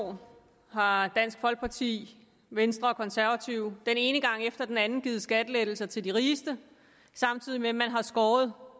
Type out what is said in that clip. år har dansk folkeparti venstre og konservative den ene gang efter den anden givet skattelettelser til de rigeste samtidig med at man har skåret